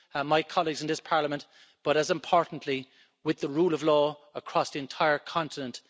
my colleagues in this Parliament, but, as importantly, with the rule of law across the entire continent.